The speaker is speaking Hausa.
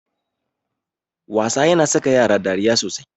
Wasa yana saka yara dariya sosai.